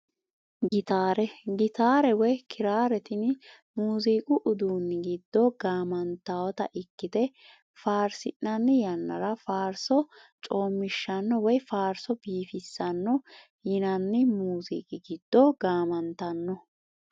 Gitaare gitaare woyi kiraare tini muuziqu uduuni giddo gaamantawota ikite faarsinani yanara faarso coomishano woyi faarso biifisano yinani muuziqi giddo gaamantano.